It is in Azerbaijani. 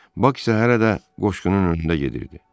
Bak isə hələ də qoşqunun önündə gedirdi.